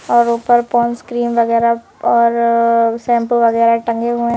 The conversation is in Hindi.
और ऊपर पोंड्स क्रीम वगैरा और शैंपू वगैरा टंगे हुए--